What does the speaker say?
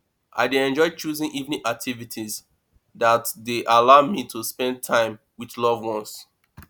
i dey enjoy choosing evening activity that dey allow me to spend time with loved ones